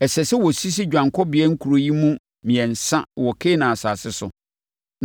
Ɛsɛ sɛ wɔsisi Dwanekɔbea Nkuro yi mu mmiɛnsa wɔ Kanaan asase so